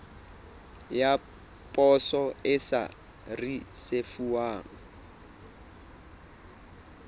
ya poso e sa risefuwang